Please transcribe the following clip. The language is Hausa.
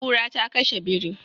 Kura ta kashe biri.